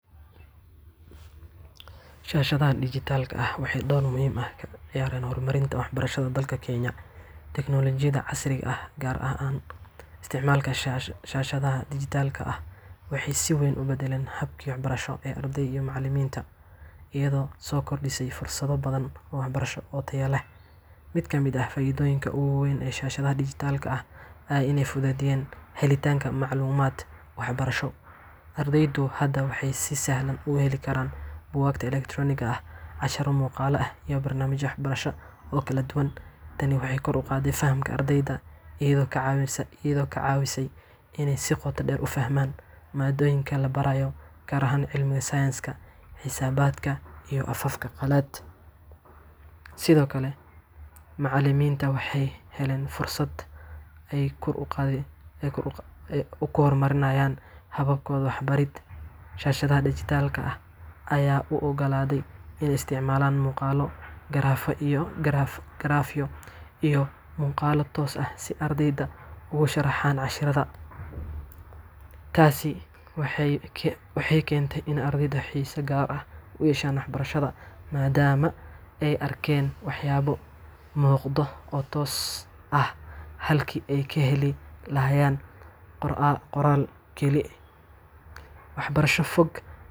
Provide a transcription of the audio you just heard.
Shaashadaha dhijitaalka ah waxay door muhiim ah ka ciyaareen horumarinta waxbarashada dalka Kenya. Teknolojiyadda casriga ah, gaar ahaan isticmaalka shaashadaha dhijitaalka ah, waxay si weyn u beddeshay habkii waxbarasho ee ardayda iyo macallimiinta, iyadoo soo kordhisay fursado badan oo waxbarasho oo tayo leh. Mid ka mid ah faa’iidooyinka ugu weyn ee shaashadaha dhijitaalka ah ayaa ah in ay fududeeyeen helitaanka macluumaad waxbarasho. Ardaydu hadda waxay si sahlan u heli karaan buugaagta elektaroonigga ah, casharro muuqaal ah, iyo barnaamijyo waxbarasho oo kala duwan. Tani waxay kor u qaaday fahamka ardayda, iyadoo ka caawisay in ay si qoto dheer u fahmaan maadooyinka la barayo, gaar ahaan cilmiga sayniska, xisaabta, iyo afafka qalaad. Sidoo kale, macallimiinta waxay heleen fursad ay ku hormariyaan habkooda waxbarid. Shaashadaha dhijitaalka ah ayaa u oggolaaday inay isticmaalaan muuqaallo, garaafyo, iyo muuqaallo toos ah si ay ardayda ugu sharxaan casharrada. Taasina waxay keentay in ardaydu xiise gaar ah u yeeshaan waxbarashada, maadaama ay arkaan waxyaabo muuqda oo toos ah halkii ay ka heli lahaayeen qoraal keli wax barasho fog.